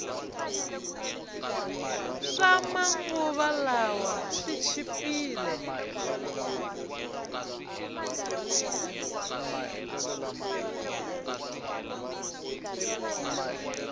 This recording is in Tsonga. swama nguva lawa swi chipile